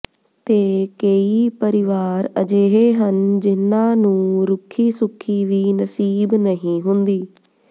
ਤੇ ਕੇਈ ਪਰਿਵਾਰ ਅਜਿਹੇ ਹਨ ਜਿਹਨਾਂ ਨੂੰ ਰੁੱਖੀ ਸੁੱਖੀ ਵੀ ਨਸੀਬ ਨਹੀਂ ਹੁੰਦੀ